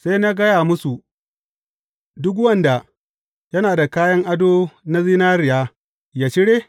Sai na gaya musu, Duk wanda yana da kayan ado na zinariya, ya cire?’